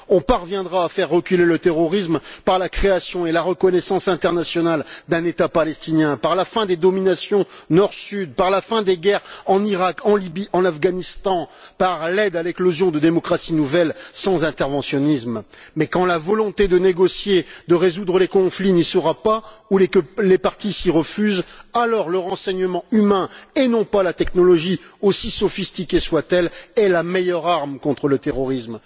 On parviendra à faire reculer le terrorisme par la création et la reconnaissance internationale d'un État palestinien, par la fin des dominations Nord Sud, par la fin des guerres en Irak, en Lybie, en Afghanistan, par l'aide à l'éclosion de démocraties nouvelles sans interventionnisme. Mais tant que la volonté de négocier, de résoudre les conflits, n'y sera pas ou que les parties s'y refuseront, c'est le renseignement humain et non la technologie, aussi sophistiquée soit elle, qui sera la meilleure arme contre le terrorisme.